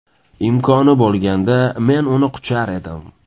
Imkoni bo‘lganda, men uni quchar edim.